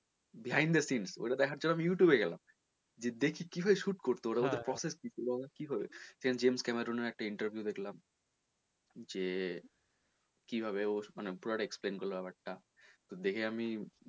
behind the scene ওটা দেখার জন্য আমি আবার youtube এ গেলাম যে কীভাবে shoot করতো ওরা ওদের process কী এবং কীভাবে James Cameron এর একটা interview দেখলাম যে কীভাবে ওর মানে পুরোটা explain করলো ব্যাপার টা তো দেখে আমি,